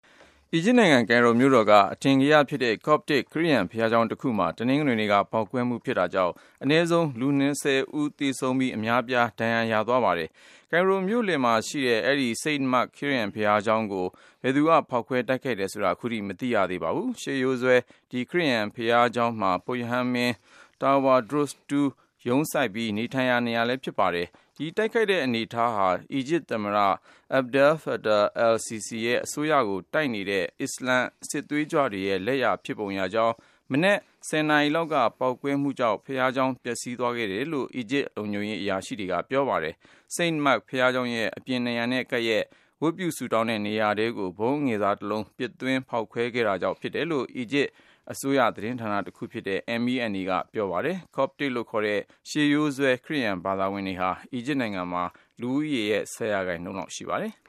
အီဂျစ်နိုင်ငံ Cairo မြို့တော်က အထင်ကရဖြစ်တဲ့ Coptic ခရစ်ယာန်ဘုရားကျောင်းတခုမှာ တနင်္ဂနွေနေ့က ပေါက်ကွဲမှုဖြစ်တာကြောင့် အနည်းဆုံး လူ ၂၀ သေဆုံးပြီး အများအပြား ဒဏ်ရာရခဲ့ပါတယ်။ ကိုင်ရိုမြို့လယ်မှာရှိတဲ့ အဲဒီ St. Mark ခရစ်ယာန်ဘုရားကျောင်းကို ဘယ်သူက ဖေါက်ခွဲတိုက်ခိုက်တယ်ဆိုတာ ခုထိ မသိရသေးပါဘူး။ ရှေးရိုးစွဲ ဒီ ခရစ်ယာန်ဘုရားကျောင်းမှာ ပုဒ်ရဟန်းမင်း Tawadros II က ရုံးစိုက်ပြီး၊ နေထိုင်တဲ့ နေရာလည်း ဖြစ်ပါတယ်။ ဒီတိုက်ခိုက်တဲ့ အနေအထားဟာ အီဂျစ်သမ္မတ Abdel-Fattah el-Sissi ရဲ့အစိုးရကို တိုက်နေတဲ့ အစ္စလမ်စစ်သွေးကြွတွေရဲ့ လက်ရာ ဖြစ်ပုံရကြောင်း၊ မနက် ၁၀ နာရီလောက်က ပေါက်ကွဲမှုကြောင့် ဘုရားကျောင်း ပျက်စီးသွားတယ်လို့ အီဂျစ်လုံခြုံရေး အရာရှိတွေက ပြောပါတယ်။ St. Mark ဘုရားကျောင်းရဲ့အပြင်နံရံ နဲ့ကပ်လျှက် ဝတ်ပြုဆုတောင်းတဲ့ နေရာထဲကို ဗုံးအငယ်စားတလုံး ပစ်သွင်းဖေါက်ခွဲခဲ့တာဖြစ်တယ်လို့ အီဂျစ်အစိုးရသတင်းဌာနတခုဖြစ်တဲ့ MENA ကပြောပါတယ်။ Copts လို့ခေါ်တဲ့ ရှေးရိုးစွဲ ခရစ်ယာန်ဘာသာဝင်တွေဟာ အီဂျစ်နိုင်ငံ လူဦးရေရဲ့ ၁၀% လောက်ရှိပါတယ်။